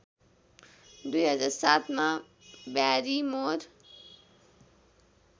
२००७ मा ब्यारिमोर